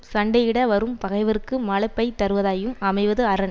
சண்டையிட வரும் பகைவர்க்கு மலைப்பைத் தருவதாயும் அமைவது அரண்